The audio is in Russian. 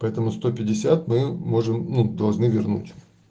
поэтому сто пятьдесят мы можем и должны вернуть